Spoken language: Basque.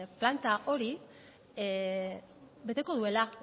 planta horrek beteko duela